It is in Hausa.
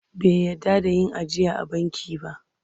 Bai yarda da yin ajiya a banki ba..